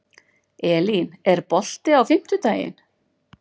Elín, er bolti á fimmtudaginn?